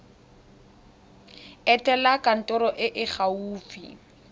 etela kantoro e e gaufi